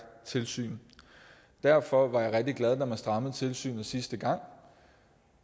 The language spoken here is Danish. tilsyn derfor var jeg rigtig glad da man strammede tilsynet sidste gang